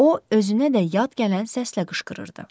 O özünə də yad gələn səslə qışqırırdı.